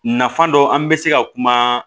Nafa dɔ an bɛ se ka kuma